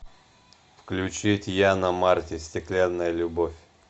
включить яна марти стеклянная любовь